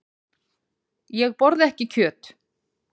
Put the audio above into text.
Ég borða ekki kjöt.